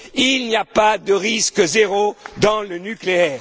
Il n'y a pas de risque zéro dans le nucléaire.